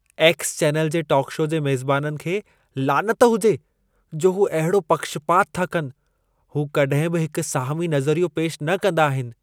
X channel जे talk show मेज़बाननि खे लानत हुजे, जो हू अहिड़ो पक्षपातु था कनि। हू कॾहिं बि हिक साहिमी नज़रियो पेशि न कंदा आहिनि।